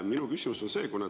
Minu küsimus on see.